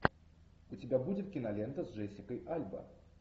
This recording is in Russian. у тебя будет кинолента с джессикой альба